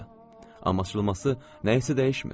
Amma açılması nəyisə dəyişmir.